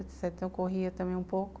Então, eu corria também um pouco.